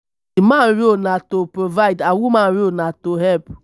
normally man role na to provide and woman role na to help